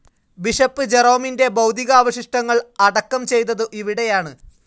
Bishop ജെറോമിന്റെ ഭൗതികാവശിഷ്ടങ്ങൾ അടക്കം ചെയ്തതു ഇവിടെയാണ്.